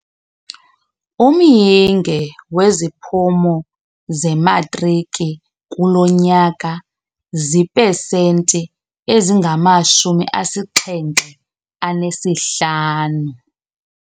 Umyinge weziphumo zematriki kulo nyaka ziipesenti ezingamashumi asixhenxe anesihlanu.